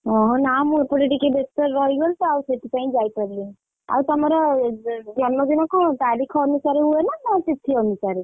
ଓହୋ ନା ମୁଁ ଏପଟେ ଟିକେ ବେସ୍ତରେ ରହିଗଲି ତ ଆଉ ସେଥିପାଇଁ। ଆଉ ତମର ଜନ୍ମଦିନ କଣ ତାରିଖ ଅନୁସାରେ ହୁଏନା ନା ତିଥି ଅନୁସାରେ?